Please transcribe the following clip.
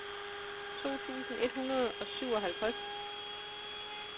to tusind et hundrede og syvoghalvtreds